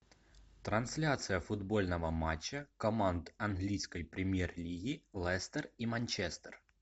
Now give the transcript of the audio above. трансляция футбольного матча команд английской премьер лиги лестер и манчестер